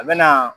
A bɛ na